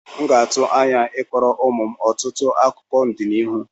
M ga-atụ anya I kọọrọ ụmụ m ọtụtụ akụkọ n'ọdịnihu.